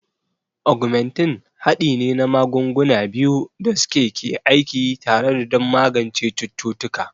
Ogmentin haɗi ne na magunguna biyu da suke ke aiki tare don magance cututtuka.